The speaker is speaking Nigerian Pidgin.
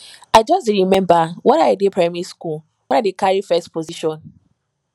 i just dey remember when i dey primary school when i dey carry first position